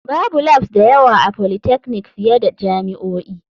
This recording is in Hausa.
Babu labs da yawa a polytechnic fiye da jami'o'i.